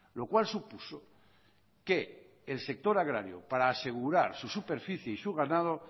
lo cual supuso que el sector agrario para asegurar su superficie y su ganado